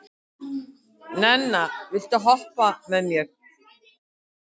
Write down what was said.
Nenna, viltu hoppa með mér?